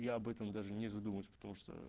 я об этом даже не задумываюсь потому что